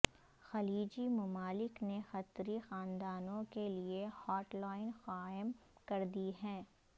خلیجی ممالک نے قطری خاندانوں کے لیے ہاٹ لائن قائم کردی ہے